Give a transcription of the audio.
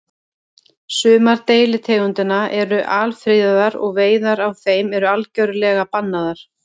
Sumar deilitegundanna eru alfriðaðar og veiðar á þeim eru algjörlega bannaðar.